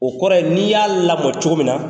O kɔrɔ ye n'i y'a lamɔ cogo min na,